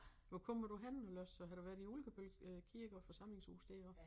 Hvor kommer du henne ellers har du været i Ulkebøl Kirke og forsamlingshus deroppe